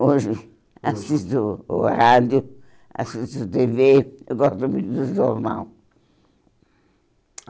Hoje, assisto o rádio, assisto tê vê, eu gosto muito do jornal.